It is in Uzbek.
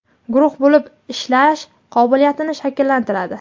guruh bo‘lib ishlash qobiliyatlarini shakllantiradi.